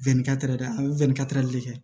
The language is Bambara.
a bɛ de kɛ